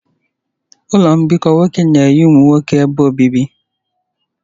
Ụlọ mbikọ nwoke na-enye ụmụ nwoke ebe obibi.